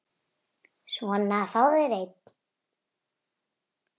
Svona, fáðu þér einn.